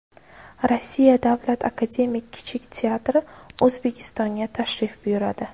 Rossiya Davlat akademik kichik teatri O‘zbekistonga tashrif buyuradi.